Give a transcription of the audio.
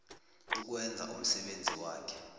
ukwenza umsebenzi wakhe